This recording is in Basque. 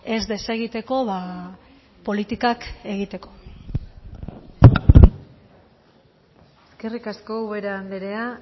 ez desegiteko politikak egiteko eskerrik asko ubera andrea